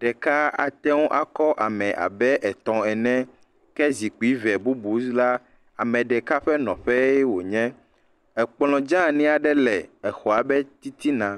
ɖeka ateŋu akɔ ame abe etɔ ene, ke zikpui ve bubu la. Ame ɖeka ƒe nɔƒe wonye. Ekplɔ dzanyi aɖe le exɔ ɖe titina.